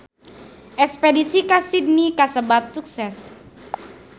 Espedisi ka Sydney kasebat sukses